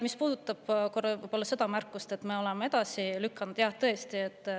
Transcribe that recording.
Mis puudutab märkust, et me oleme seda edasi lükanud, siis jah, tõesti.